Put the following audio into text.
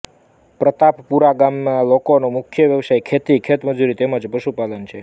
પ્રતાપપુરા ગામના લોકોનો મુખ્ય વ્યવસાય ખેતી ખેતમજૂરી તેમ જ પશુપાલન છે